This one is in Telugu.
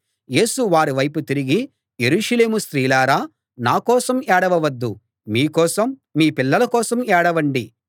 యేసు వారివైపు తిరిగి యెరూషలేము స్త్రీలారా నా కోసం ఏడవవద్దు మీ కోసం మీ పిల్లల కోసం ఏడవండి